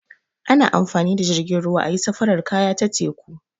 Ana amfani da jirgin ruwa ayi safarar kaya ta teku.